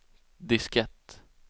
diskett